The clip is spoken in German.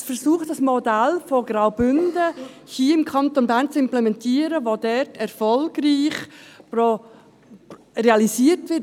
Es versucht hier im Kanton Bern ein Modell aus dem Kanton Graubünden zu implementieren, das dort erfolgreich realisiert wurde.